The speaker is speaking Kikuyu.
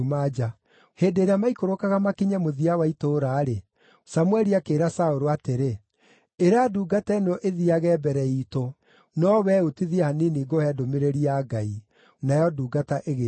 Hĩndĩ ĩrĩa maikũrũkaga makinye mũthia wa itũũra-rĩ, Samũeli akĩĩra Saũlũ atĩrĩ, “Ĩra ndungata ĩno ĩthiiage mbere iitũ, no wee ũtithie hanini ngũhe ndũmĩrĩri ya Ngai.” Nayo ndungata ĩgĩĩka o ũguo.